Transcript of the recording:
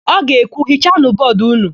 Ọ ga-ekwu, "hichanụ bọọdụ ụnụ"!